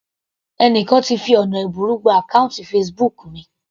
Ẹni kan ti fi ọ̀nà ẹ̀bùrú gba àkọ́ùntì Facebook mi.